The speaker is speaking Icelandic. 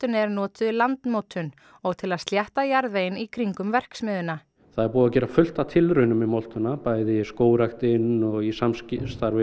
er notuð í landmótun og til að slétta jarðveginn í kringum verksmiðjuna það er búið að gera fullt af tilraunum með moltuna bæði skógræktin og í samstarfi